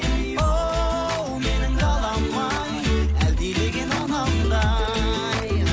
оу менің далам ай әлдилеген анамдай